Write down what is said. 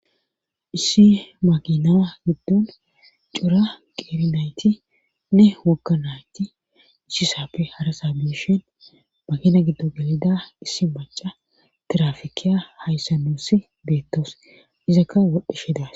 Issi maginaa giddon cuura qeerinaytinne wokka nayti ichisaappe harasa biishin magina giddo gelida issi maca tirafikeya hayssa nuussi beettos izakka wodhdheshedas.